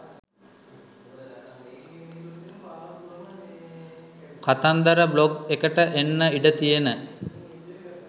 කතන්දර බ්ලොග් එකට එන්න ඉඩ තියෙන